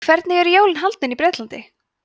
hvernig eru jólin haldin í bretlandi